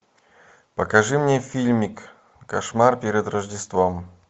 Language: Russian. покажи мне фильмик кошмар перед рождеством